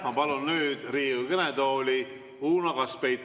Ma palun nüüd Riigikogu kõnetooli Uno Kaskpeiti.